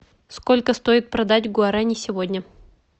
сколько стоит продать гуарани сегодня